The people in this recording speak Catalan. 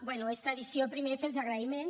bé és tradició primer fer els agraïments